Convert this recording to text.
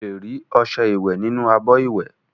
Ó lè rí ọṣẹ ìwẹ nínú abọ ìwẹ